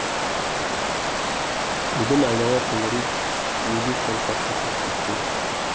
бүгін айнала төңірек неге сонша құлпырып кеткен